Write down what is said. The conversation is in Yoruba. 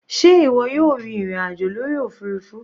Sé ìwọ yóò rin ìrìn àjò lórí òfurufú?